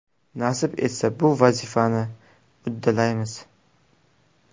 Nasib etsa, bu vazifani uddalaymiz.